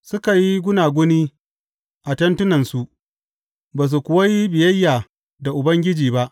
Suka yi gunaguni a tentunansu ba su kuwa yi biyayya da Ubangiji ba.